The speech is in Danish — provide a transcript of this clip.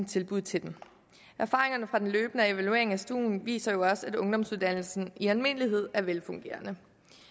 tilbud til dem erfaringerne fra den løbende evaluering af stuen viser jo også at ungdomsuddannelsen i almindelighed er velfungerende